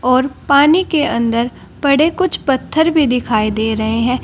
और पानी के अंदर पड़े कुछ पत्थर भी दिखाई दे रहे हैं।